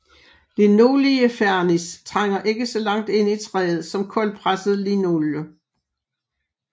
Linoliefernis trænger ikke så langt ind i træet som koldpresset linolie